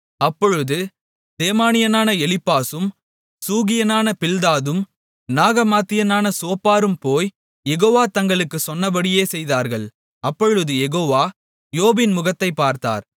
அப்பொழுது தேமானியனான எலிப்பாசும் சூகியனான பில்தாதும் நாகமாத்தியனான சோப்பாரும்போய் யெகோவா தங்களுக்குச் சொன்னபடியே செய்தார்கள் அப்பொழுது யெகோவா யோபின் முகத்தைப் பார்த்தார்